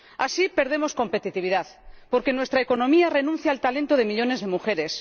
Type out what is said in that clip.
Así perdemos competitividad, porque nuestra economía renuncia al talento de millones de mujeres.